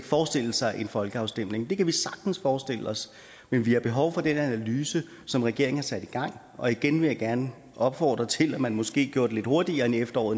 forestille sig en folkeafstemning det kan vi sagtens forestille os men vi har behov for den analyse som regeringen har sat i gang og igen vil jeg gerne opfordre til at man måske gjorde det lidt hurtigere end efteråret